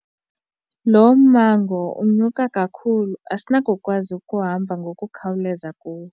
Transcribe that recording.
Lo mmango unyuka kakhulu asinakukwazi ukuhamba ngokukhawuleza kuwo.